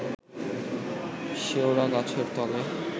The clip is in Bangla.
শেওড়া গাছের তলে